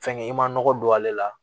Fɛnkɛ i ma nɔgɔ don ale la